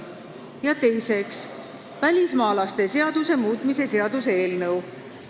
Ja teiseks, välismaalaste seaduse muutmise seaduse eelnõu.